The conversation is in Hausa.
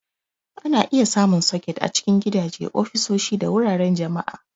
Ana iya samun soket a cikin gidaje, ofisoshi, da wuraren jama'a.